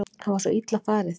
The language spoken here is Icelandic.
Það var svo illa farið